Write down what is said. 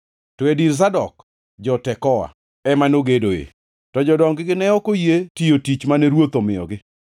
to e dir Zadok, jo-Tekoa ema nogedoe. To jodong-gi ne ok oyie tiyo tich mane ruoth omiyogi.